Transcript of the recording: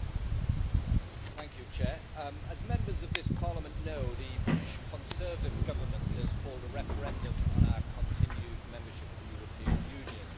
Mr President, as Members of this Parliament know, the British Conservative Government has called a referendum on our continued membership of the European Union.